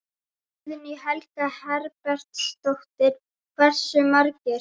Guðný Helga Herbertsdóttir: Hversu margir?